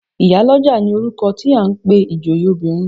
Ìyálọ́jà ni orúkọ tí à ń pe ìjòyè obìnrin.